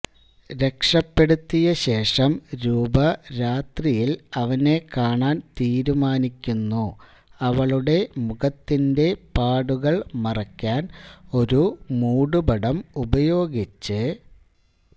രക്ഷപ്പെടുത്തിയ ശേഷം രൂപ രാത്രിയിൽ അവനെ കാണാൻ തീരുമാനിക്കുന്നു അവളുടെ മുഖത്തിന്റെ പാടുകൾ മറയ്ക്കാൻ ഒരു മൂടുപടം ഉപയോഗിച്ച്